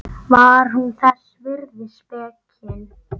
Var hún þess virði spekin?